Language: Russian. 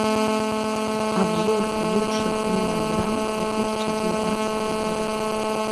обзор лучших мелодрам две тысячи девятнадцатого года